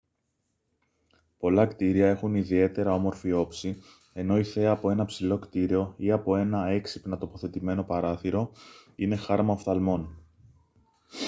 πολλά κτίρια έχουν ιδιαίτερα όμορφη όψη ενώ η θέα από ένα ψηλό κτίριο ή από ένα έξυπνα τοποθετημένο παράθυρο είναι χάρμα οφθαλμών